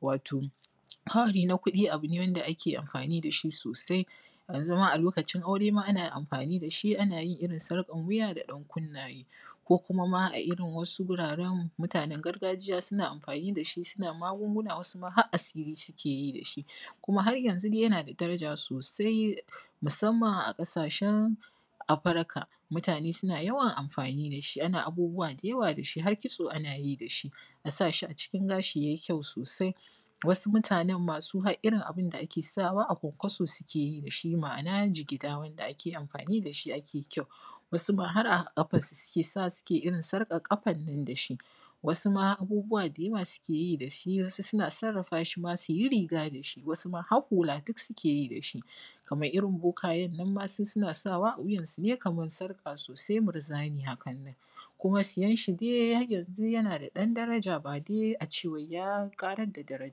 wa:to: ka:wari: na ku:ɗi: a:bu ne wanda ake amfa:ni: da ʃi: so:sai janzu ma: a lo:kaʧin aure ma: ana amfa:ni: da ʃi: ana jin irin sarƙan wuja da dan kunna:je: ko kuma ma a irin wa:su: guraren muta:nen garga:ʤija suna amfa:ni: da ʃi suna ma:gungu:na wasu ma har a:si:ri suke yi da ʃi kuma har janzu dai jana da da:ra:ʤa: so:sai musamman a ƙasa:ʃen afirika mutane suna jawan amfa:ni: da ʃi ana abu:bu:wa da ja:wa da ʃi: har ki:tso ana ji da ʃi a sa ʃi a ʧikin ga:ʃi yayi kyau so:sai wasu muta:nen ma su: har irin abinda ake sawa a kwankwaso suke yi da ʃi ma’ana ʤigida: wanda ake amfa:ni da ʃi: ake kyau wasu ma: har a ƙafa suke sa:wa: suke irin sarƙan ƙafannan da ʃi wa:su ma: abu:bu:wa da ja:wa suke ji da ʃi: wa:su suna sar:a:fa: ʃi ma: suji: riga: da ʃi: wa:su ma har hu:la: duk suke ji da ʃi kamar irin bo:ka:jen nan ma: suna sawa a wujan sune kamar sarƙa so:sai murza:ni ha:kannan kuma sijan ʃi dai har janzu jana da dan da:ra:ʤa ba dai a ʧe: wai ja: ƙa:rar da da:ra:ʤa